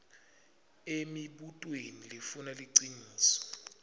emibutweni lefuna liciniso